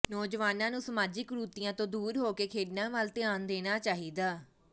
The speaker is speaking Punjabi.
ਨੌਜਵਾਨਾਂ ਨੂੰ ਸਮਾਜਿਕ ਕੁਰੀਤੀਆਂ ਤੋਂ ਦੂਰ ਹੋ ਕੇ ਖੇਡਾਂ ਵੱਲ ਧਿਆਨ ਦੇਣਾ ਚਾਹੀਦਾ